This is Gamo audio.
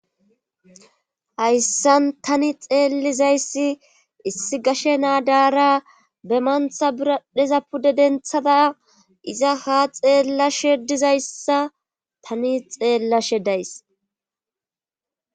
Hayssan tani xeellizayssi issi gashe naadara be mantha biradheza pude denthada iza ha xeella shedizayssa tani xeellashe days